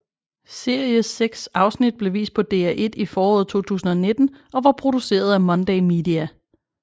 Series seks afsnit blev vist på DR1 i foråret 2019 og var produceret af Monday Media